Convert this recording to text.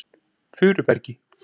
Furubergi